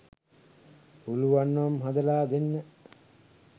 පුලුවන් නම් හදලා දෙන්න.